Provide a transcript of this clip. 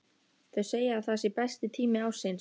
Þau segja að það sé besti tími ársins.